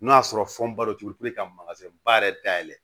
N'o y'a sɔrɔ fɛnba don cogo puruke ka ba yɛrɛ dayɛlɛ